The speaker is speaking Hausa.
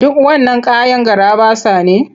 Duk wannan kayan garaɓasa ne?